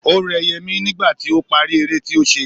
O rẹ Yẹmí nígbà tí ó parí eré tí ó ṣe.